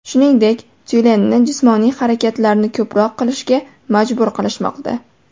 Shuningdek, tyulenni jismoniy harakatlarni ko‘proq qilishga majburlashmoqda.